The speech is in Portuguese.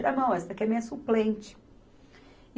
Tira a mão, essa aqui é minha suplente.